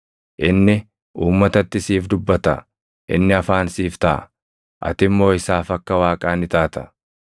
Inni uummatatti siif dubbata; inni afaan siif taʼa; ati immoo isaaf akka Waaqaa ni taata.